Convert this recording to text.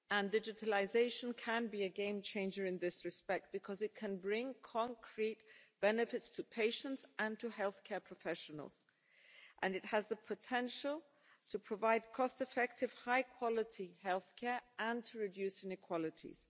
Digitalisation can be a game changer in this respect, because it can bring concrete benefits to patients and to healthcare professionals. It has the potential to provide cost-effective, high-quality healthcare and to reduce inequalities.